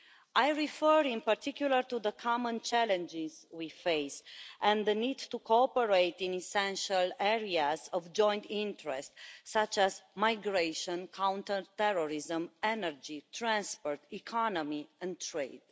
I refer in particular to the common challenges that we face and the need to cooperate in essential areas of joint interest such as migration, counterterrorism, energy, transport, economy and trade.